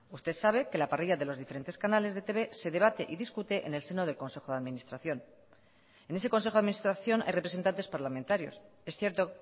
usted sabe que la parrilla de los diferentes canales de etb se debate y discute en el seno del consejo de administración en ese consejo de administración hay representantes parlamentarios es cierto